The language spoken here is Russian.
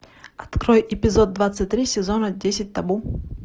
открой эпизод двадцать три сезона десять табу